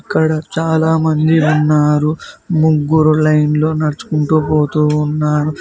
ఇక్కడ చాలామంది ఉన్నారు ముగ్గురు లైన్లో నడుచుకుంటూ పోతూ ఉన్నారు.